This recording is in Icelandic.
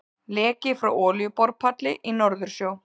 Leki frá olíuborpalli í Norðursjó.